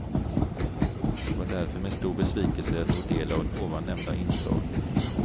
Det var därför med stor besvikelse jag tog del av ovan nämnda inslag.